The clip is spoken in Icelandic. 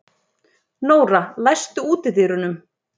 Nóra, læstu útidyrunum.